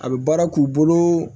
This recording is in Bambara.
A bɛ baara k'u bolo